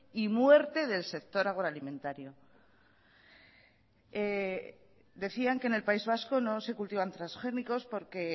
y muerte del sector agroalimentario decían que en el país vasco no se cultivan transgénicos porque